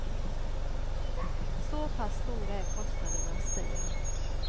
Så pass stora är kostnaderna, säger han.